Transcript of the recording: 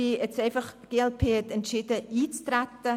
Die glp hat entschieden, jetzt einzutreten.